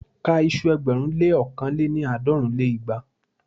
Ka iṣu ẹgbẹ̀rún lé ókàn lé-ní- àádọ́rùn lé igba!